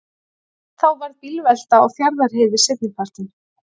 Þá varð bílvelta á Fjarðarheiði seinnipartinn